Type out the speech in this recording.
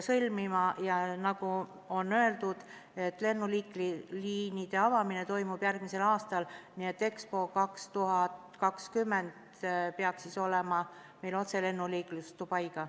Nagu öeldud, liinid avatakse järgmisel aastal, nii et Expo 2020 ajaks peaks meil olema otseühendus Dubaiga.